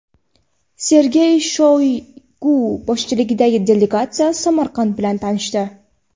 Sergey Shoygu boshchiligidagi delegatsiya Samarqand bilan tanishdi.